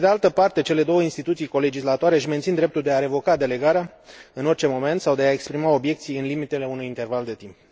Pe de altă parte, cele două instituții colegislatoare își mențin dreptul de a revoca delegarea în orice moment sau de a exprima obiecții în limitele unui interval de timp.